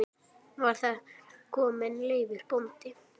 Var þar kominn Leifur bóndi.